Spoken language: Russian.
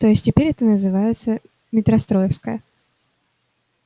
то есть теперь это называется метростроевская